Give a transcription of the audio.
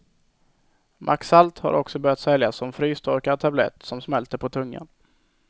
Maxalt har också börjat säljas som frystorkad tablett som smälter på tungan.